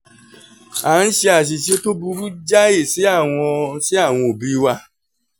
a ń ṣe àṣìṣe tó burú jáì sí àwọn sí àwọn òbí wa